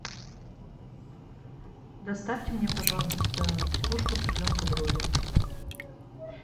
доставьте мне пожалуйста тушку цыпленка бройлера